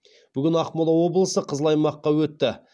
бүгін ақмола облысы қызыл аймаққа өтті